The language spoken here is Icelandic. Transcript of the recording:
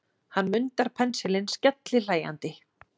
Hann mundar pensilinn skellihlæjandi.